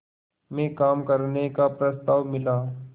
में काम करने का प्रस्ताव मिला